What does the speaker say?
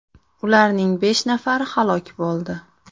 Ularning besh nafari halok bo‘ldi.